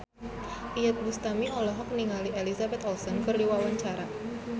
Iyeth Bustami olohok ningali Elizabeth Olsen keur diwawancara